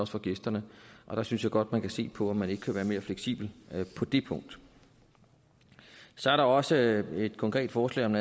for gæsterne og der synes jeg godt at man kan se på om man ikke kan være mere fleksible på det punkt så er der også et konkret forslag om